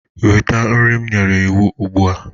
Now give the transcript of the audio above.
Weta nri m nyere iwu ugbu a.